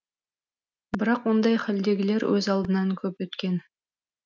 бірақ ондай халдегілер өз алдынан көп өткен